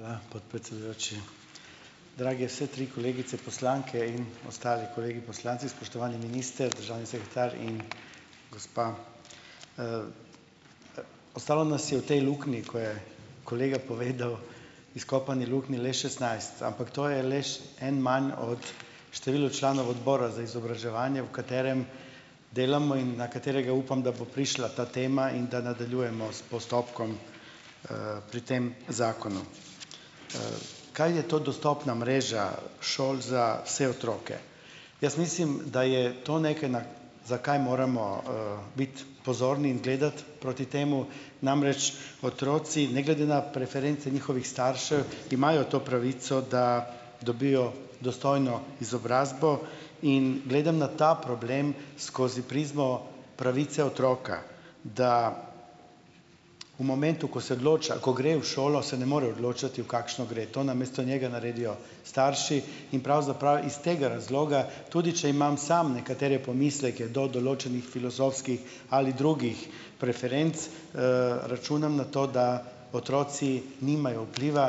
Hvala podpredsedujoči. Drage vse tri kolegice poslanke in ostali kolegi poslanci! Spoštovani minister, državni sekretar in gospa. Ostalo nas je v tej luknji, ko je kolega povedal, izkopani luknji le šestnajst. Ampak to je le en manj od število članov Odbora za izobraževanje, v katerem delamo in na katerega upam, da bo prišla ta tema in da nadaljujemo s postopkom, pri tem zakonu. Kaj je to dostopna mreža šol za vse otroke? Jaz mislim, da je to nekaj, na za kaj moramo, biti pozorni in gledati proti temu. Namreč, otroci ne glede na preference njihovih staršev imajo to pravico, da dobijo dostojno izobrazbo, in gledam na ta problem skozi prizmo pravice otroka, da v momentu, ko se odloča, ko gre v šolo, se ne more odločati, v kakšno gre. To namesto njega naredijo starši in pravzaprav iz tega razloga, tudi če imam samo nekatere pomisleke do določenih filozofskih ali drugih preferenc, računam na to, da otroci nimajo vpliva,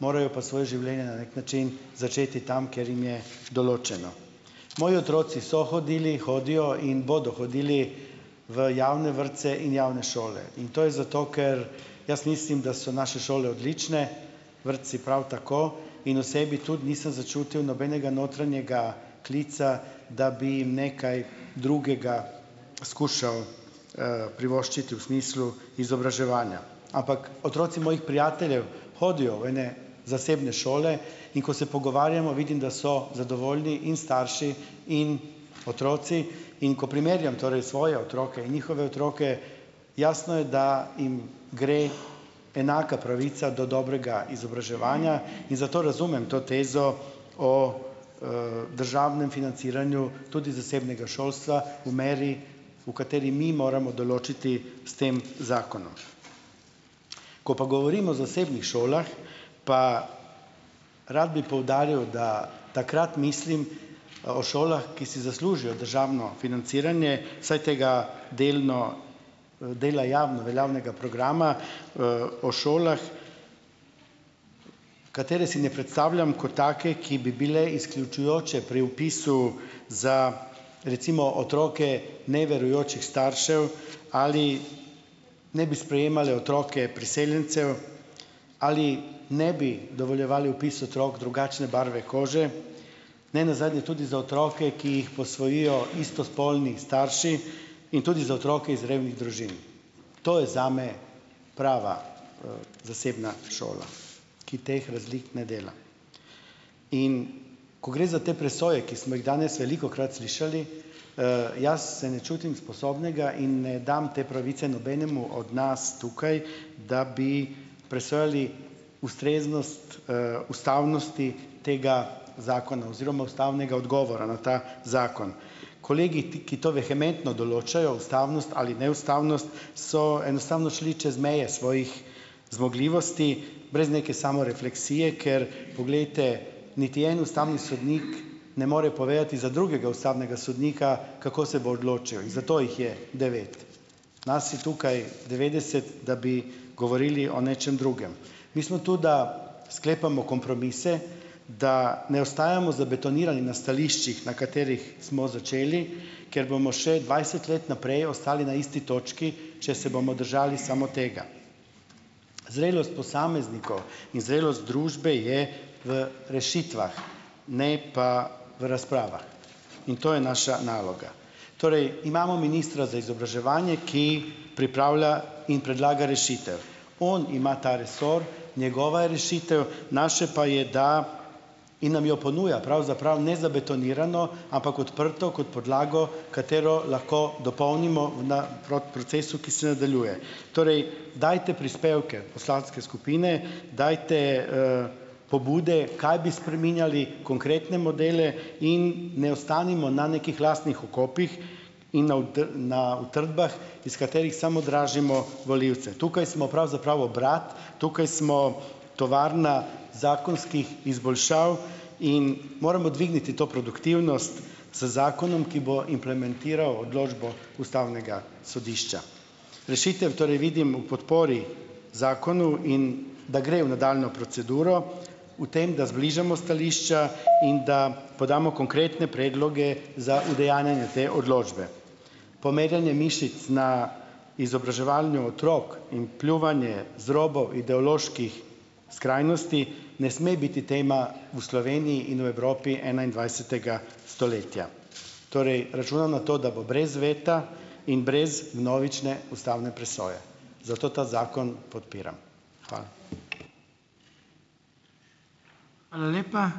morajo pa svoje življenje, na neki način, začeti tam, kjer jim je določeno. Moji otroci so hodili, hodijo in bodo hodili v javne vrtce in javne šole. In to je zato, ker jaz mislim, da so naše šole odlične, vrtci prav tako in v sebi tudi nisem začutil nobenega notranjega klica, da bi jim nekaj drugega skušal privoščiti v smislu izobraževanja. Ampak otroci mojih prijateljev hodijo v ene zasebne šole, in ko se pogovarjamo, vidim, da so zadovoljni in starši in otroci. In ko primerjam torej svoje otroke in njihove otroke, jasno je, da jim gre enaka pravica do dobrega izobraževanja, in zato razumem to tezo o, državnem financiranju tudi zasebnega šolstva v meri, v kateri mi moramo določiti s tem zakonom. Ko pa govorimo o zasebnih šolah, pa rad bi poudaril, da takrat mislim o šolah, ki si zaslužijo državno financiranje, saj tega delno, dela javno veljavnega programa, o šolah, katere si ne predstavljam kot take, ki bi bile izključujoče pri vpisu za recimo otroke neverujočih staršev ali ne bi sprejemale otroke priseljencev ali ne bi dovoljevale vpis otrok drugačne barve kože, ne nazadnje tudi za otroke, ki jih posvojijo istospolni starši in tudi za otroke iz revnih družin. To je zame prava, zasebna šola. Ki teh razlik ne dela. In ko gre za te presoje, ki smo jih danes velikokrat slišali, jaz se ne čutim sposobnega in ne dam te pravice nobenemu od nas, tukaj, da bi presojali ustreznost, ustavnosti tega zakona oziroma ustavnega odgovora na ta zakon. Kolegi, ti ki to vehementno določajo - ustavnost ali neustavnost, so enostavno šli čez meje svojih zmogljivosti, brez neke samorefleksije, ker poglejte, niti en ustavni sodnik, ne more povedati za drugega ustavnega sodnika, kako se bo odločil. Zato jih je devet. Nas je tukaj devetdeset, da bi govorili o nečem drugem. Mi smo tu, da sklepamo kompromise, da ne ostajamo zabetonirani na stališčih, na katerih smo začeli, ker bomo še dvajset let naprej ostali na isti točki, če se bomo držali samo tega. Zrelost posameznikov in zrelost družbe je v rešitvah, ne pa v razpravah. In to je naša naloga. Torej, imamo ministra za izobraževanje, ki pripravlja in predlaga rešitev. On ima ta resor, njegova je rešitev, naše pa je, da in nam jo ponuja, pravzaprav ne zabetonirano, ampak odprto, kot podlago, katero lahko dopolnimo v na procesu, ki se nadaljuje. Torej, dajte prispevke poslanske skupine, dajte, pobude, kaj bi spreminjali, konkretne modele in ne ostanimo na nekih lastnih okopih in na na utrdbah, iz katerih samo dražimo volivce. Tukaj smo pravzaprav obrat, tukaj smo, tovarna zakonskih izboljšav in moramo dvigniti to produktivnost z zakonom, ki bo implementiral odločbo ustavnega sodišča. Rešitev torej vidim v podpori zakonu in da gre v nadaljnjo proceduro, v tem, da zbližamo stališča in da podamo konkretne predloge za udejanjanje te odločbe. Pomerjanje mišic na izobraževanju otrok in pljuvanje z robov ideoloških skrajnosti ne sme biti tema v Sloveniji in Evropi enaindvajsetega stoletja. Torej, računam na to, da bo brez veta in brez vnovične ustavne presoje, zato ta zakon podpiram. Hvala.